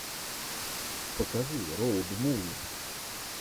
покажи роуд муви